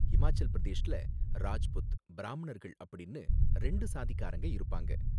ஹிமாச்சல் பிரதேஷ்ல ராஜ்புத், பிராமணர்கள் அப்படின்னு ரெண்டு சாதிக்காரங்க இருப்பாங்க.